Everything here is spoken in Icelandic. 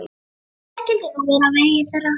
Hvað skyldi nú verða á vegi þeirra?